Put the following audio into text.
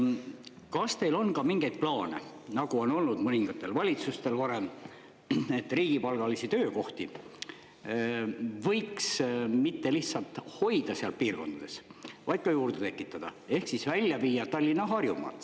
Kas teil on ka mingeid plaane, nagu on olnud mõningatel valitsustel varem, et riigipalgalisi töökohti võiks mitte lihtsalt hoida seal piirkondades, vaid ka juurde tekitada, ehk siis välja viia Tallinnast ja Harjumaalt?